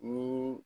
Ni